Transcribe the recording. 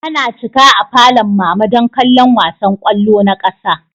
Ana cika a falon mama don kallon wasan kwallo na ƙasa